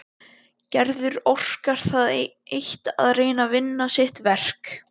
Gerður orkar það eitt að reyna að vinna sitt verk.